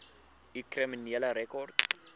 u kriminele rekord